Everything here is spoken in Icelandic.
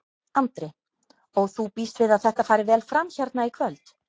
Andri: Og þú býst við að þetta fari vel fram hérna í kvöld?